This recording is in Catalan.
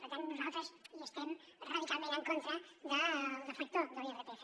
per tant nosaltres estem radicalment en contra del deflactor de l’irpf